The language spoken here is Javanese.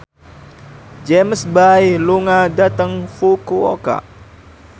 James Bay lunga dhateng Fukuoka